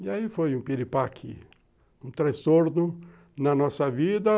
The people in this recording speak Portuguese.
E aí foi um piripaque, um transtorno na nossa vida